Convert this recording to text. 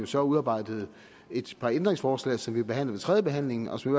så udarbejdet et par ændringsforslag som vi behandler ved tredjebehandlingen og som